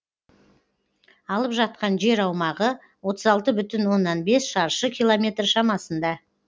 алып жатқан жер аумағы отыз алты бүтін оннан бес шаршы километр шамасында